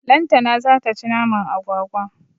Lantana zata ci naman agwagwa.